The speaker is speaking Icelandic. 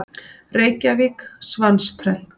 Reykjavík: Svansprent.